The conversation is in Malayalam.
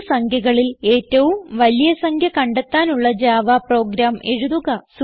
മൂന്ന് സംഖ്യകളിൽ ഏറ്റവും വലിയ സംഖ്യ കണ്ടെത്താനുള്ള ജാവ പ്രോഗ്രാം എഴുതുക